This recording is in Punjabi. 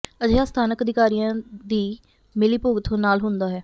ਅਜਿਹਾ ਸਥਾਨਕ ਅਧਿਕਾਰੀਆਂ ਦੀ ਮਿਲੀ ਭੁਗਤ ਨਾਲ ਹੁੰਦਾ ਹੈ